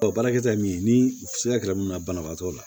baarakɛta ye mun ye ni sigara munna banabaatɔ la